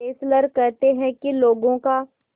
Fessler कहते हैं कि लोगों का